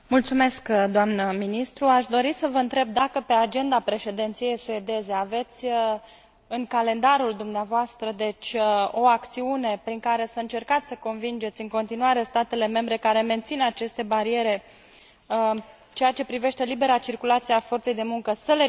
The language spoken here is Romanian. Aș dori să vă întreb dacă pe agenda președinției suedeze aveți în calendarul dumneavoastră o acțiune prin care să încercați să convingeți în continuare statele membre care mențin aceste bariere, în ceea ce privește libera circulație a forței de muncă, să le ridice.